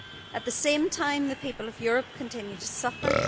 At the same time the people of Europe continue to suffer.